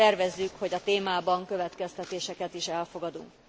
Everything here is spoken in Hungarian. Tervezzük, hogy a témában következtetéseket is elfogadunk.